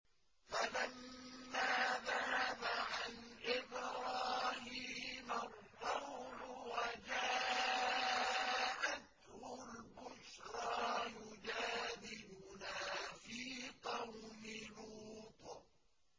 فَلَمَّا ذَهَبَ عَنْ إِبْرَاهِيمَ الرَّوْعُ وَجَاءَتْهُ الْبُشْرَىٰ يُجَادِلُنَا فِي قَوْمِ لُوطٍ